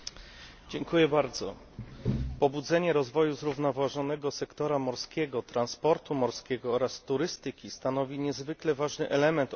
Pobudzenie rozwoju zrównoważonego sektora morskiego, transportu morskiego oraz turystyki stanowi niezwykle ważny element odbudowy gospodarki europejskiej.